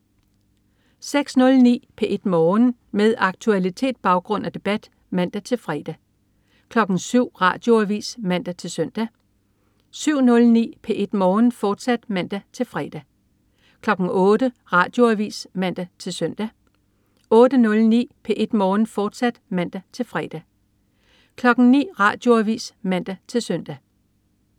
06.09 P1 Morgen. Med aktualitet, baggrund og debat (man-fre) 07.00 Radioavis (man-søn) 07.09 P1 Morgen, fortsat (man-fre) 08.00 Radioavis (man-søn) 08.09 P1 Morgen, fortsat (man-fre) 09.00 Radioavis (man-søn)